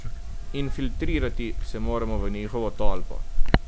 Infiltrirati se moramo v njihovo tolpo.